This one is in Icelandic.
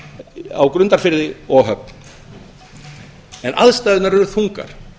í grundarfirði og á höfn en aðstæðurnar eru þungar